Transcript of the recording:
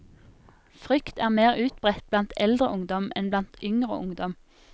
Frykt er mer utbredt blant eldre ungdom enn blant yngre ungdom.